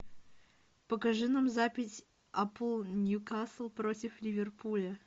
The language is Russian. покажи нам запись апл ньюкасл против ливерпуля